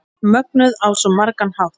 Mögnuð á svo margan hátt.